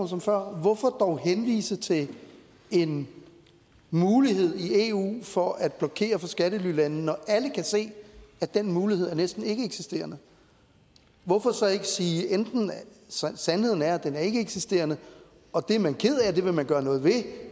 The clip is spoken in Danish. som før hvorfor dog henvise til en mulighed i eu for at blokere for skattelylande når alle kan se at den mulighed er næsten ikkeeksisterende hvorfor så ikke enten sige at sandheden er at den er ikkeeksisterende og det er man ked af og vil gøre noget ved